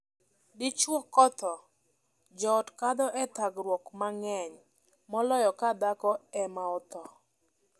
Dichwo kothoo, joot kadho e thagruok mang'eny moloyo ka dhako ema otho.